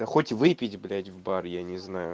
да хоть выпить блядь в бар я не знаю